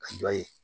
A dɔ ye